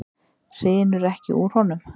Hrinur ekki úr honum?